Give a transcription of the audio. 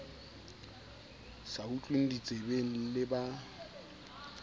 sa utlweng ditsebeng le ba